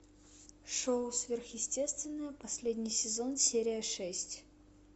шоу сверхъестественное последний сезон серия шесть